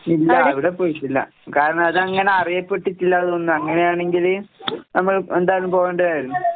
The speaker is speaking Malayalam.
ഇല്ല, അവിടെ പോയിട്ടില്ല. കാരണതങ്ങനെ അറിയപ്പെട്ടിട്ടില്ല തോന്നുന്നു. അങ്ങനെയാണെങ്കില് നമ്മൾ എന്തായാലും പോവേണ്ടതായിരുന്നു.